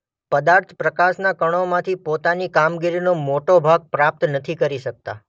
પદાર્થ પ્રકાશના કણોમાંથી પોતાની કામગીરીનો મોટો ભાગ પ્રાપ્ત નથી કરી શકતા